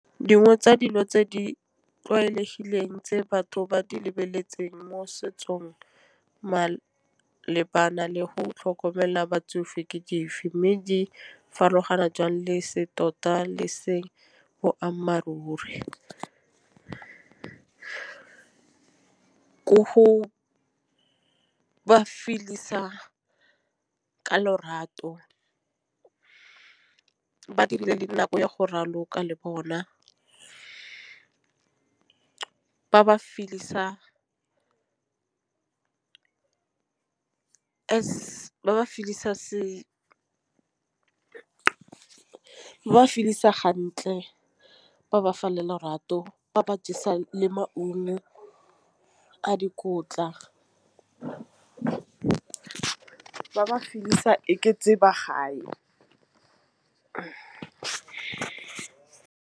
Dingwe tsa dilo tse di tlwaelegileng tse batho ba di lebeletseng mo setsong malebana le go tlhokomela batsofe ke dife? Mme di farologana jang lese tota le seng boammaaruri. Go ba feel-isa ka lorato ba dire le nako ya go raloka le bona. Ke ba feel-isa ba seo ke ba feel-isa hantle ba felela lorato ba ba jesa le maungo a dikotla. Ba ba feel-isa e ba gae.